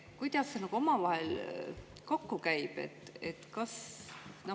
Kuidas see omavahel kokku käib?